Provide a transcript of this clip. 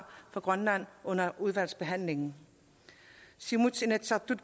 fra grønland under udvalgsbehandlingen siumuts